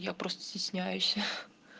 я просто стесняюсь